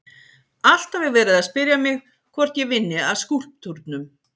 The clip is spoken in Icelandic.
Alltaf er verið að spyrja mig hvort ég vinni að skúlptúrnum.